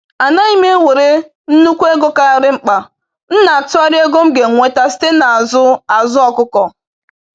Anaghị m ewere nnukwu ego karịrị mkpa, m na-atụgharị ego m ga-enweta site na azụ azụ ọkụkọ.